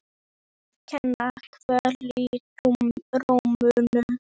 Mér að kenna- Kvöl í rómnum.